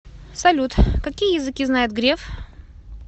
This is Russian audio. салют какие языки знает греф